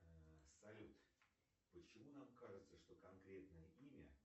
салют почему нам кажется что конкретное имя